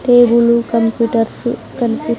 table computers కనిపి--